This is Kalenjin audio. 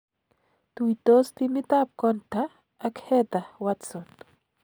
Tuitos timitap kontha ak Heather watson